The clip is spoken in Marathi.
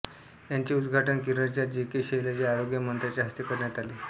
याचे उद्घाटन केरळच्या जे के शैलजा आरोग्य मंत्र्यांच्या हस्ते करण्यात आले